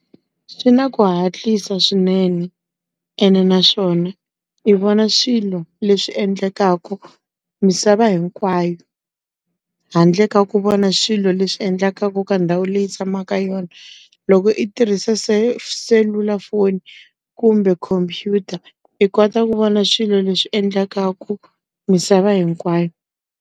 Swi na ku hatlisa swinene, ene naswona i vona swilo leswi endlekaka misava hinkwayo. Handle ka ku vona swilo leswi endlaka endlekaka ka ndhawu leyi i tshamaka ka yona. Loko i tirhise selulafoni kumbe computer, i kota ku vona swilo leswi endlekaka misava hinkwayo.